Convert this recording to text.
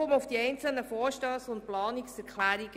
Nun zu den einzelnen Vorstössen und Planungserklärungen.